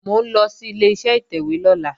Mò ń lọ sí Ileṣẹ́ ìtẹ̀wé lọ́la